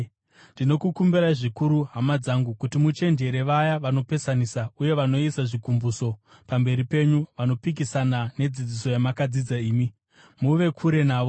Ndinokukumbirai zvikuru, hama dzangu, kuti muchenjerere vaya vanopesanisa uye vanoisa zvigumbuso pamberi penyu vanopikisana nedzidziso yamakadzidza imi. Muve kure navo.